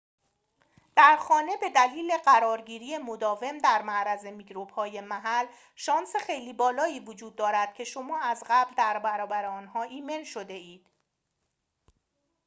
در خانه بدلیل قرارگیری مداوم در معرض میکروب‌های محل شانس خیلی بالایی وجود دارد که شما از قبل در برابر آنها ایمن شده‌اید